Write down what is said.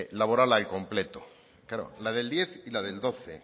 laboral al completo claro la del diez y la del doce